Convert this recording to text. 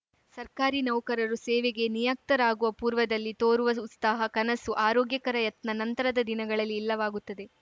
ಸರ್ಕಾರಿ ನೌಕರರು ಸೇವೆಗೆ ನಿಯುಕ್ತರಾಗುವ ಪೂರ್ವದಲ್ಲಿ ತೋರುವ ಉಸ್ತಾಹ ಕನಸು ಆರೋಗ್ಯಕರ ಯತ್ನ ನಂತರದ ದಿನಗಳಲ್ಲಿ ಇಲ್ಲವಾಗುತ್ತದೆ